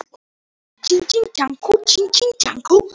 Ef þú kemur ekki þá hef ég verið